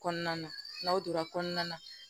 Kɔnɔna na n'aw donna kɔnɔna na